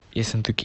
ессентуки